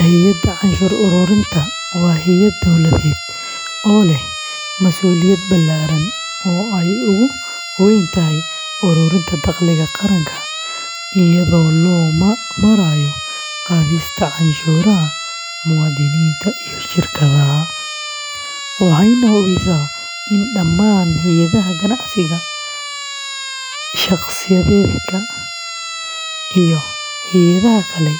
Hay’adda canshuur ururinta waa hay’ad dowladeed oo leh masuuliyad ballaaran oo ay ugu weyn tahay ururinta dakhliga qaranka iyada oo loo marayo qaadista canshuuraha muwaadiniinta iyo shirkadaha, waxayna hubisaa in dhammaan hay’adaha ganacsiga, shaqsiyaadka, iyo hay’adaha kale